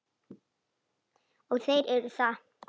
Og þeir eru það.